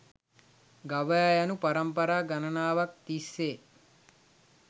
ගවයා යනු පරම්පරා ගණනාවක් තිස්සේ